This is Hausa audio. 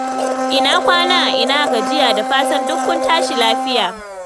Ina kwana. Ina gajiya. Da fatan duk kun tashi lafiya.